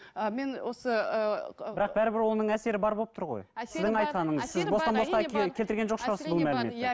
ы мен осы ыыы бірақ бірібір оның әсері бар болып тұр ғой